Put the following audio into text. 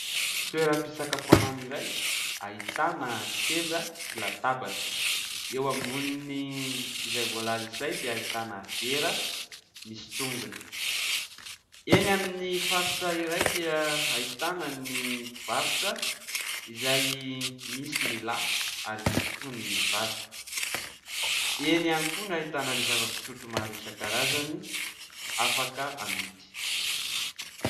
Toeram-pisakafoanana iray ahitana seza sy latabatra, eo ambonin'izay voalaza izay dia ahitana vera misy tongony. Eny amin'ny faritra iray dia ahitana ny mpivarotra izay misy ny lahy ary misy koa ny vavy; eny ihany koa no ahitana zava-pisotro maro isakarazany afaka amidy.